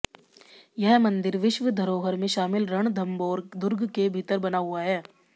यह मंदिर विश्व धरोहर में शामिल रणथम्भौर दुर्ग के भीतर बना हुआ है